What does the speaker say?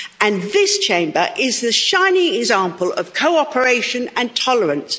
And this Chamber is the shining example of cooperation and tolerance.